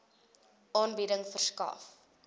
aanbieding verskaf